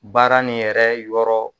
Baara nin yɛrɛ yɔrɔ